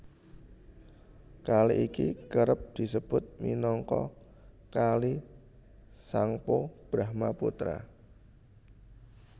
Kali iki kerep disebut minangka Kali Tsangpo Brahmaputra